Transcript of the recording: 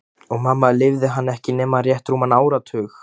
Og mamma lifði hann ekki nema rétt rúman áratug.